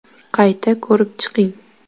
Qayta ko‘rib chiqing”.